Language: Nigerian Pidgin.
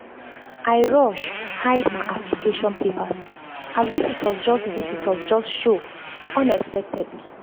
i rush hide my application papers as visitors just visitors just show unexpectedly